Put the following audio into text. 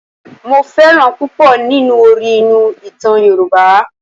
Mo fẹ́ràn púpọ̀ nínú orí inú ìtàn Yorùbá.